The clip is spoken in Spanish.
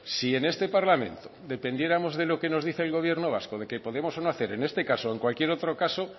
si en este parlamento dependiéramos de lo que nos dice el gobierno vasco de que podemos o no hacer en este caso o en cualquier otro caso